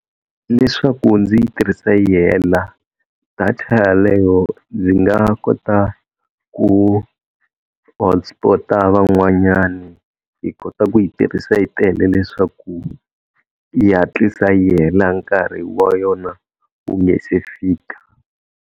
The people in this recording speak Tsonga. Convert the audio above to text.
Leswaku ndzi yi tirhisa yi hela data yaleyo ndzi nga kota ku hotspot-a van'wanyani hi kota ku yi tirhisa hi tele leswaku yi hatlisa yi hela nkarhi wa yona wu nge se fika.